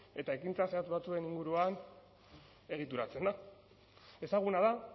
eta ekintza zehatz batzuen inguruan egituratzen da ezaguna da